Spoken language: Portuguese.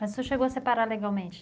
Mas o senhor chegou a separar legalmente?